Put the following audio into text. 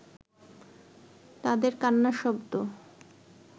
তাঁদের কান্নার শব্দ